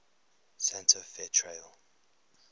santa fe trail